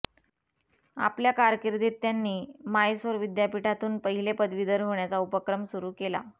आपल्या कारकिर्दीत त्यांनी मायसोर विद्यापीठातून पहिले पदवीधर होण्याचा उपक्रम सुरू केला